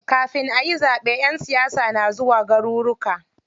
Kafin ayi zaɓe ƴan siyasa na zuwa garuruka.